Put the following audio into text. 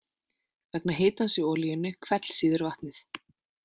Vegna hitans í olíunni hvellsýður vatnið.